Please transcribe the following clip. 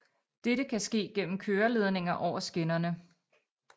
Dette kan ske gennem køreledninger over skinnerne